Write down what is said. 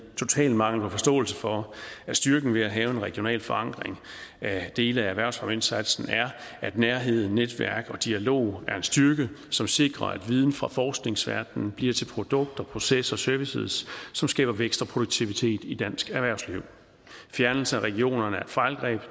totalt manglende forståelse for at styrken ved at have en regional forankring af dele af erhvervsfremmeindsatsen er at nærhed netværk og dialog er en styrke som sikrer at viden fra forskningsverdenen bliver til produkter processer og services som skaber vækst og produktivitet i dansk erhvervsliv fjernelse af regionerne er et fejlgreb